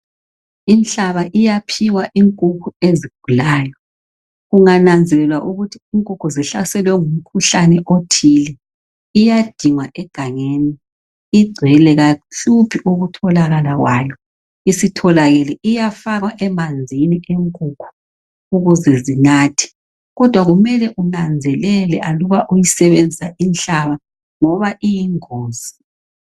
Inhlaba iyaphiwa inkukhu ezigulayo. Kungananzelelwa ukuthi inkukhu zihlaselwe ngumkhuhlane othile. Iyadingwa egangeni. Igcwele kayihluphi ukutholakala kwayo. Isitholakele iyafakwa emanzini enkukhu ukuze zinathe. Kodwa kumele unanzelele aluba usebenzisa inhlaba ngoba iyingozi.